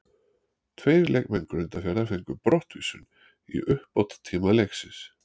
Tveir leikmenn Grundarfjarðar fengu brottvísun í uppbótartíma leiksins.